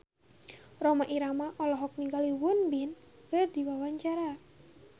Rhoma Irama olohok ningali Won Bin keur diwawancara